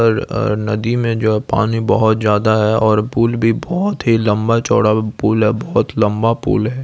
और और नदी में जो पानी बहुत ज्यादा है और पुल भी बहुत ही लम्बा-चौड़ा पुल है बहुत लम्बा पुल है।